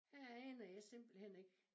Her aner jeg simpelthen ikke